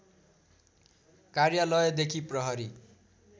कार्यालयदेखि प्रहरी